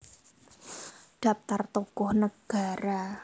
Daptar Tokoh Negara